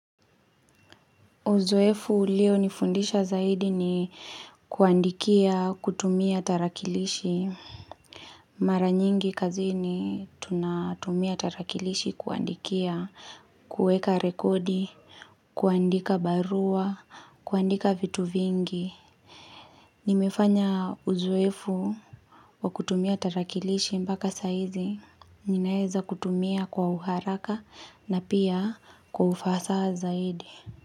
Uzoefu ulio nifundisha zaidi ni kuandikia kutumia tarakilishi Mara nyingi kazini tunatumia tarakilishi kuandikia, kuweka rekodi, kuandika barua, kuandika vitu vingi nimefanya uzoefu wa kutumia tarakilishi mbaka sahizi Ninaeza kutumia kwa uharaka na pia kwa ufasaha zaidi.